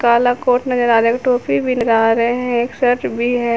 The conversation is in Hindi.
काला कोट नजर आ रहा एक टोपी भी लगा रहे है एक शर्ट भी है।